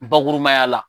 Bakurubaya la